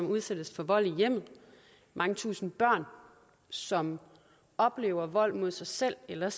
udsættes for vold i hjemmet mange tusinde børn som oplever vold mod sig selv eller